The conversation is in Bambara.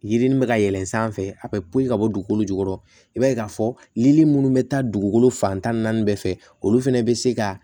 Yirini bɛ ka yɛlɛn sanfɛ a bɛ poyi ka bɔ dugukolo jukɔrɔ i b'a ye k'a fɔ lili minnu bɛ taa dugukolo fan tan ni naani bɛɛ fɛ olu fana bɛ se ka